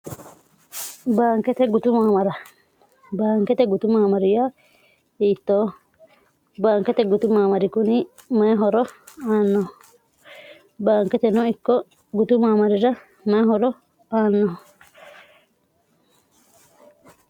baankete gutumaamara baankete gutu maamariya iittoo baankete gutu maamari kuni mayihoro aanno baanketeno ikko gutu maamarira mayihoro aanno